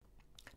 DR2